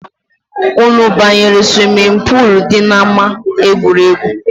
Anụ banyere swimi poolu dị na ama egwuregwu